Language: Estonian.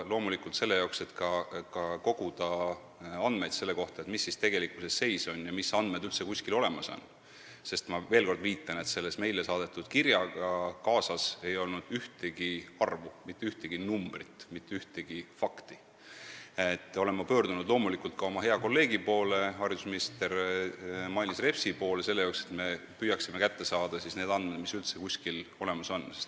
Loomulikult olen ma selle jaoks, et koguda andmeid selle kohta, mis seis tegelikkuses on ja mis andmed üldse kuskil olemas on – ma veel kord ütlen, et selle meile saadetud kirjaga ei olnud kaasas ühtegi arvu, mitte ühtegi numbrit, mitte ühtegi fakti –, olen ma pöördunud loomulikult ka oma hea kolleegi haridusminister Mailis Repsi poole, et me koos püüaksime kätte saada need andmed, mis üldse kusagil olemas on.